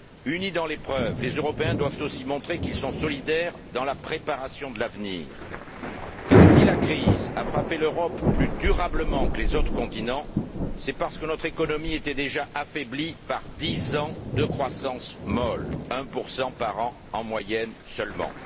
Unis dans l'épreuve, les Européens doivent aussi montrer qu'ils sont solidaires dans la préparation de l'avenir car si la crise a frappé l'Europe plus durablement que les autres continents, c'est parce que notre économie était déjà affaiblie par dix ans de croissance molle, l par an en moyenne seulement.